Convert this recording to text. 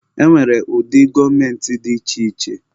E nwere ụdị gọọmentị dị iche iche.